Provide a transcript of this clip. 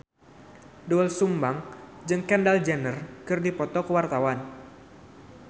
Doel Sumbang jeung Kendall Jenner keur dipoto ku wartawan